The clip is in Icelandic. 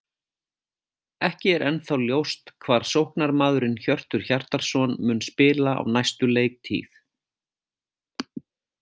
Ekki er ennþá ljóst hvar sóknarmaðurinn Hjörtur Hjartarson mun spila á næstu leiktíð.